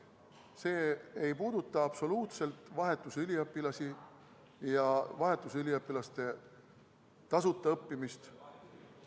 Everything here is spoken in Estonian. See ei puuduta absoluutselt vahetusüliõpilasi ja vahetusüliõpilaste tasuta õppimist.